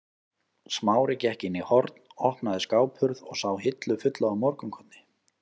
Smári gekk inn í horn, opnaði skáphurð og sá hillu fulla af morgunkorni.